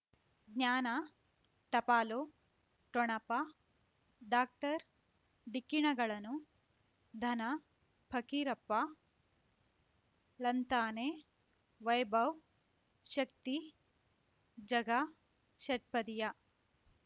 ಜ್ಞಾನ ಟಪಾಲು ಠೊಣಪ ಡಾಕ್ಟರ್ ಢಿಕ್ಕಿ ಣಗಳನು ಧನ ಫಕೀರಪ್ಪ ಳಂತಾನೆ ವೈಭವ್ ಶಕ್ತಿ ಝಗಾ ಷಟ್ಪದಿಯ